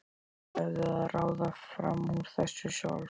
Þið verðið að ráða fram úr þessu sjálf.